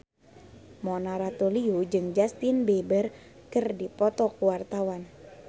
Mona Ratuliu jeung Justin Beiber keur dipoto ku wartawan